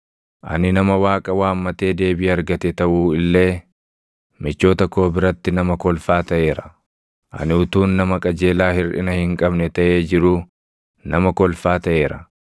“Ani nama Waaqa waammatee deebii argate taʼu illee, michoota koo biratti nama kolfaa taʼeera. Ani utuun nama qajeelaa hirʼina hin qabne taʼee jiruu nama kolfaa taʼeera.